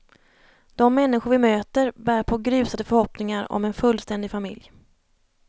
De människor vi möter, bär på grusade förhoppningar om en fullständig familj.